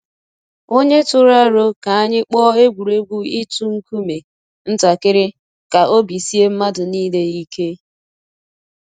Onye tụrụ aro ka anyị kpọọ egwuregwu itu nkume ntakịrị ka obi sie mmadụ niile ike.